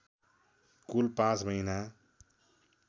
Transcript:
कुल पाँच महीना